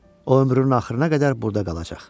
O ömrünün axırına qədər burda qalacaq.